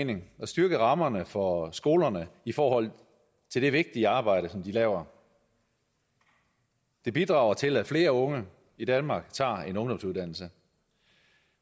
mening at styrke rammerne for skolerne i forhold til det vigtige arbejde som de laver det bidrager til at flere unge i danmark tager en ungdomsuddannelse